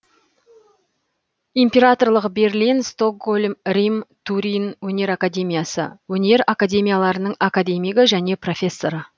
императорлық берлин стокгольм рим турин өнер академиясы өнер академияларының академигі және профессоры